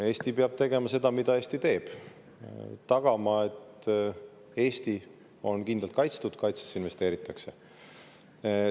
Eesti peab tegema seda, mida Eesti teeb: tagama, et Eesti on kindlalt kaitstud, et kaitsesse investeeritakse.